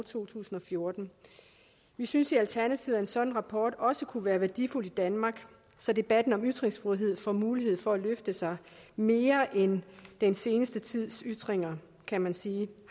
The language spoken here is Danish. to tusind og fjorten vi synes i alternativet at en sådan rapport også kunne være værdifuld i danmark så debatten om ytringsfrihed får mulighed for at løfte sig mere end den seneste tids ytringer kan man sige